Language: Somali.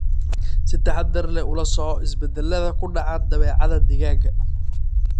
Si taxaddar leh ula soco isbeddellada ku dhaca dabeecadda digaagga.